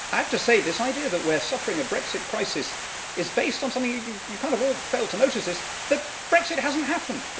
I have to say, this idea that we're suffering a Brexit crisis is based on something that you all fail to notice that Brexit hasn't happened!